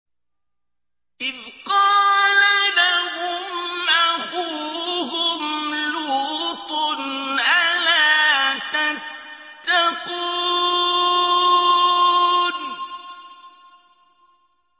إِذْ قَالَ لَهُمْ أَخُوهُمْ لُوطٌ أَلَا تَتَّقُونَ